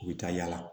U bɛ taa yala